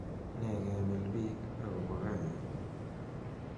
nee kemilbiik agopo kariit